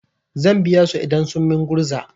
Zan biya su idan sun min gurza.